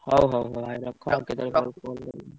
ହଉ ହଉ ହଉ ଆଉ ରଖ ଆଉ କେତବେଳେ call କରିବି।